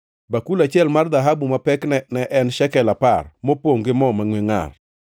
bakul achiel mar dhahabu ma pekne ne en shekel apar, mopongʼ gi mo mangʼwe ngʼar;